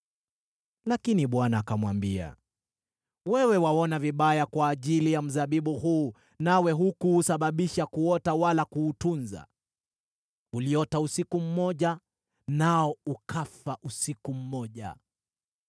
Lakini Bwana akamwambia, “Wewe unakasirika kwa ajili ya mzabibu huu, nawe hukuusababisha kuota wala kuutunza. Uliota usiku mmoja, nao ukafa usiku mmoja.